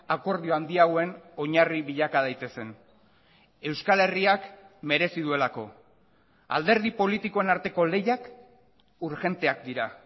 akordio handiagoen oinarri bilaka daitezen euskal herriak merezi duelako alderdi politikoen arteko lehiak urgenteak dira